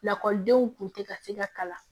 Lakɔlidenw kun tɛ ka se ka kalan